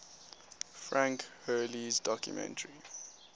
frank hurley's documentary